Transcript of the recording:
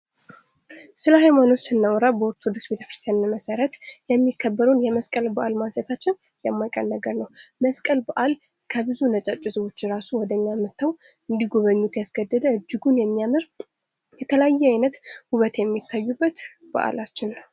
ስለ ሐይማኖት ስናወራና ቤተክርስቲያን መሰረት የሚከበሩን የመስቀል በአል ማንሳታችን የማይቀር ነገር ነው። መስቀል በዓል ከብዙ ነጫጭ ህዝቦች ራሱ ወደኛ መጥተው እንዲጎበኙት ያስገደደ እጅጉን የሚያምር የተለያዩ አይነት ውበት የሚታዩበት በዓላችን ነው።